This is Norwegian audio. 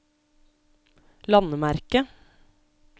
landemerke